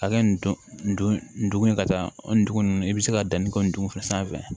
A kɛ nin don ye ka taa o dugu ninnu i bɛ se ka danni kɛ nin dugu fɛ sanfɛ